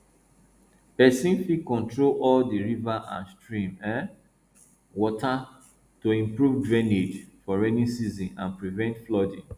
person fit control all di river and stream um water to improve drainage for rainy season and prevent flooding